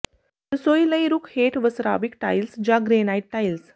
ਰਸੋਈ ਲਈ ਰੁੱਖ ਹੇਠ ਵਸਰਾਵਿਕ ਟਾਇਲਸ ਜਾਂ ਗ੍ਰੇਨਾਈਟ ਟਾਇਲ